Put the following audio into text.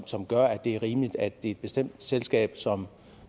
som gør at det er rimeligt at det er et bestemt selskab som